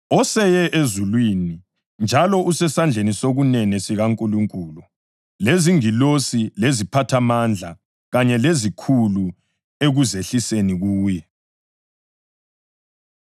oseye ezulwini njalo usesandleni sokunene sikaNkulunkulu, lezingilosi, leziphathamandla kanye lezikhulu ekuzehliseni kuye.